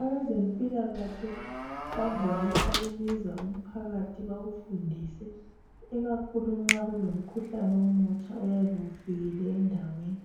Abezempilakahle bavame ukubiza umphakathi bawufundise ikakhulu nxa kulomkhuhlane omutsha oyabe ufikile endaweni.